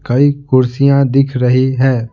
कई कुर्सियां दिख रही है।